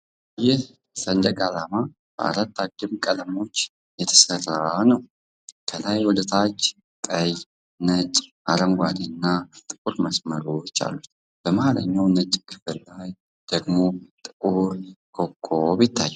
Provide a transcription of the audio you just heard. ይህ ሰንደቅ ዓላማ በአራት አግድም ቀለሞች የተሠራ ነው። ከላይ ወደ ታች ቀይ፣ ነጭ፣ አረንጓዴ እና ጥቁር መስመሮች አሉት። በመሃልኛው ነጭ ክፍል ላይ ደግሞ ጥቁር ኮከብ ይታያል።